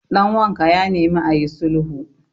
danwanka ya nemi a yi sulhu